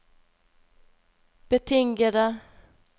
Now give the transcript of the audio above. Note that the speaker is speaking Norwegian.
betingede